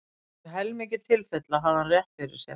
Í um helmingi tilfella hafði hann rétt fyrir sér!